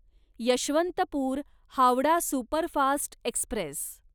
Yesvantpur Howrah superfast Express